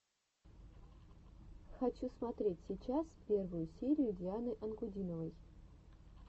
хочу смотреть сейчас первую серию дианы анкудиновой